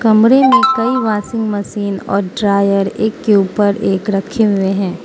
कमरे में कई वाशिंग मशीन और ड्रायर एक के ऊपर एक रखे हुए हैं।